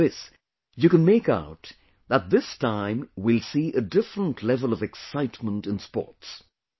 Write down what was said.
From this, you can make out that this time we will see a different level of excitement in sports